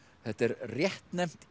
þetta er réttnefnt